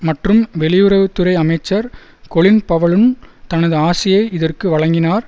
மற்றும் வெளியுறவு துறை அமைச்சர் கொலின் பவலும் தனது ஆசியை இதற்கு வழங்கினார்